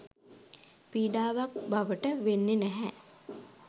පීඩාවක් බවට වෙන්නෙ නැහැ.